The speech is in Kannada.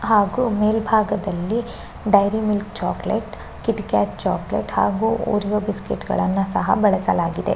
ಹಾಗು ಮೇಲಬಾಗದಲ್ಲಿ Dairy Milk chocolate KitKat chocolate ಹಾಗು ಒರಿಯೊ ಬಿಸ್ಕೆಟ್ ಗಳನ್ನ ಸಹ ಬಳಸಲಾಗಿದೆ.